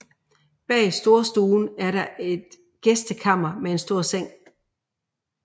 Bag storstuen er der et gæstekammer med en stor seng